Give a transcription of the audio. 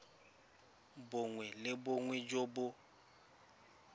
bongwe le bongwe jo bo